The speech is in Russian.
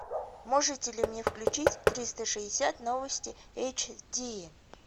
можете ли мне включить триста шестьдесят новости эйч ди